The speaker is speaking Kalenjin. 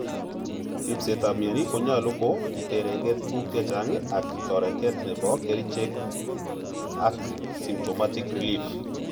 Rispet ap mioni konyalu ko iterenke tuguk chechang ak, toretet nepo kerichek ak symptomatic relief.